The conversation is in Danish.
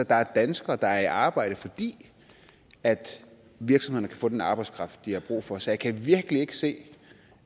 der er danskere der er i arbejde fordi virksomhederne kan få den arbejdskraft de har brug for så jeg kan virkelig ikke se